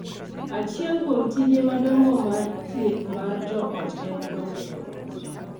Achiel kuom tije madongo mag thieth mar joot en konyo joot .